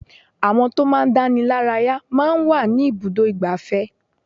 Àwọn tó máa ń dánilaraya máa ń wà ní ibùdó igbàfẹ́.